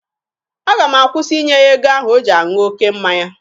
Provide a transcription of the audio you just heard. Aga m akwụsị ịnye ya ego ahụ o ji aṅụ oke mmanya.